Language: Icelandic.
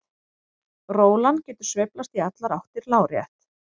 Rólan getur sveiflast í allar áttir lárétt.